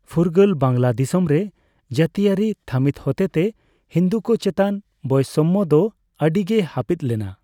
ᱯᱷᱩᱨᱜᱟᱹᱞ ᱵᱟᱝᱞᱟᱫᱤᱥᱚᱢ ᱨᱮ ᱡᱟᱹᱛᱤᱭᱟᱹᱨᱤ ᱛᱷᱟᱢᱤᱛ ᱦᱚᱛᱮ ᱛᱮ ᱦᱤᱱᱫᱩᱠᱚ ᱪᱮᱛᱟᱱ ᱵᱳᱭᱥᱚᱢᱢᱚ ᱫᱚ ᱟᱹᱰᱤᱜᱮ ᱦᱟᱯᱤᱫ ᱞᱮᱱᱟ ᱾